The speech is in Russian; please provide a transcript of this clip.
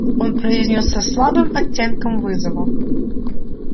он произнёс со слабым оттенком вызова